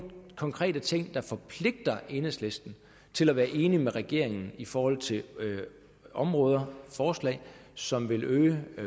konkrete ting der forpligter enhedslisten til at være enig med regeringen i forhold til områder og forslag som vil øge